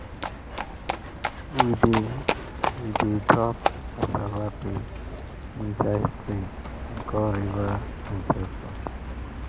we dey we dey drop cassava peel inside stream and call river ancestors.